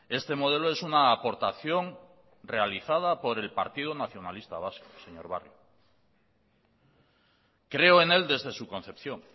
este modelo es una aportación realizada por el partido nacionalista vasco señor barrio creo en él desde su concepción